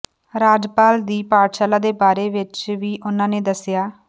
ਰਾਜਪਾਲ ਦੀ ਪਾਠਸ਼ਾਲਾ ਦੇ ਬਾਰੇ ਵਿੱਚ ਵੀ ਉਨ੍ਹਾਂ ਨੇ ਦੱਸਿਆ